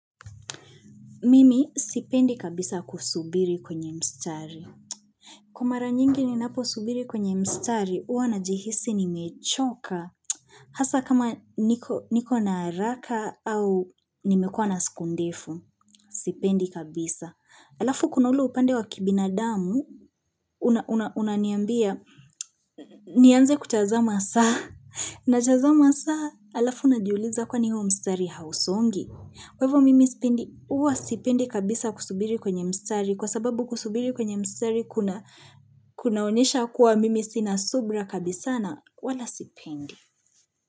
Mimi sipendi kabisa kusubiri kwenye mstari. Kwa mara nyingi ni napo subiri kwenye mstari, huwa na jihisi ni mechoka. Hasa kama niko na haraka au nimekua na siku ndefu. Sipendi kabisa. Alafu kunaule upande wa kibinadamu, unaniambia, nianze kutazama saa. Najazama saa, alafu na jiuliza kwani huo mstari hausongi. Kwa hivo mimi sipendi huwa sipendi kabisa kusubiri kwenye mstari kwa sababu kusubiri kwenye mstari kuna kuna onesha kuwa mimi sina subra kabisa na wala sipindi.